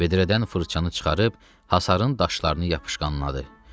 Vedrədən fırçanı çıxarıb hasarın daşlarını yapışqınladı.